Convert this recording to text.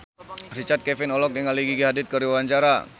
Richard Kevin olohok ningali Gigi Hadid keur diwawancara